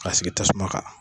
Ka sigi tasuma kan.